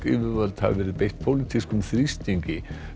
yfirvöld hafi verið beitt pólitískum þrýstingi